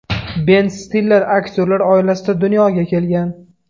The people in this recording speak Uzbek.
Ben Stiller aktyorlar oilasida dunyoga kelgan.